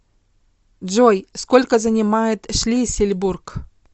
джой сколько занимает шлиссельбург